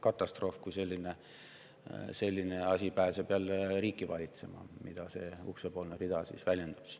Katastroof, kui selline asi pääseb jälle riiki valitsema, mida see uksepoolne rida siin väljendab.